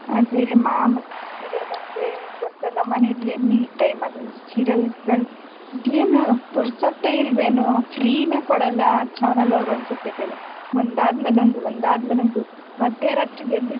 ಅದೇ ಮಾಮೂಲಿ serial ಅಂದ್ರೆ ಗೊತ್ತಲ ಮನೇಲಿ any time ಅದೊಂದ್ serial ಗಳ್ ಅದೇನು ಪುರ್ಸತೆ ಇಲ್ವೇನೋ free ನೇ ಕೊಡಲ್ಲ ಆ channel ಅವ್ರೇನೋ ಅನ್ಸುತ್ತೆ ಕಣೆ ಒಂದಾದ್ಮೇಲೊಂದು ಒಂದಾದ್ಮೇಲೊಂದು ಮಧ್ಯ ರಾತ್ರಿಗೆದ್ದು.